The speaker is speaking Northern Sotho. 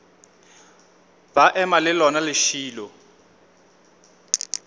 ba ema le lona lešilo